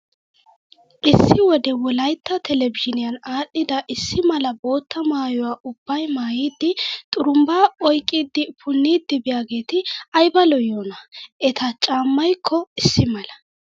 Issi wode wolayitta telbbejiiniyaan aadhdhida issi mala bootta maayyuwaa ubbayi maayyidi xurumbbaa oyiqqidi punniiddi biyaageeti ayiba lo''iyoonaa. Eta caammayikko issi mala.